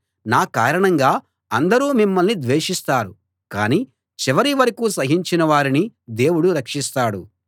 నా కారణంగా అందరూ మిమ్మల్ని ద్వేషిస్తారు కాని చివరి వరకూ సహించిన వారిని దేవుడు రక్షిస్తాడు